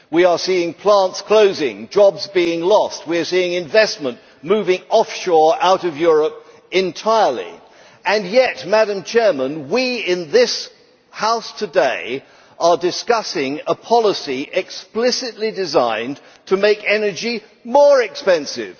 We are seeing plants closing, jobs being lost. We are seeing investment moving offshore out of Europe entirely, and yet we in this House today are discussing a policy explicitly designed to make energy more expensive.